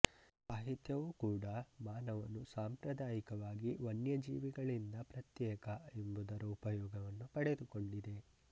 ಸಾಹಿತ್ಯವು ಕೂಡಾ ಮಾನವನು ಸಾಂಪ್ರದಾಯಿಕವಾಗಿ ವನ್ಯಜೀವಿಗಳಿಂದ ಪ್ರತ್ಯೇಕ ಎಂಬುದರ ಉಪಯೋಗ ಪಡೆದಿಕೊಂಡಿದೆ